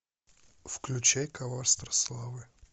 включай коварство славы